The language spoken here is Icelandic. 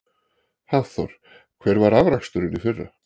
Hafþór: Hver var afraksturinn í fyrra?